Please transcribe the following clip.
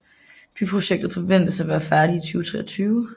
Byprojektet forventes at være færdig i 2023